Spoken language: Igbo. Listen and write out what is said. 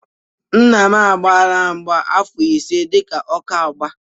Nna m agbaala mgba afọ ise dị ka ọka mgba.